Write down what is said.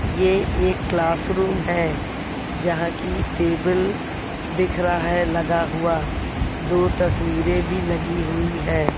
ये एक classroom है जहां की टेबल दिख रहा है लगा हुआ दो तस्वीरें भी लगी हुई है।